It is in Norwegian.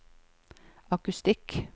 akustikk